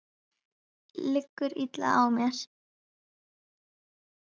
Liggur illa á mér?